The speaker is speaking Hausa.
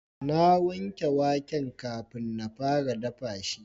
na wanke waken kafin na fara dafa shi